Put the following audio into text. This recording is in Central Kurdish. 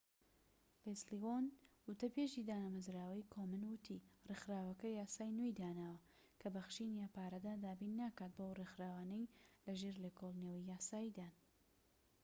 لێسلی ئۆن وتەبێژی دامەزراوەی کۆمن وتی ڕێکخراوەکە یاسای نوێی داناوە کە بەخشین یان پارەدان دابین ناکات بۆ ئەو ڕێکخراوانەی لەژێر لێکۆڵینەوەی یاساییدان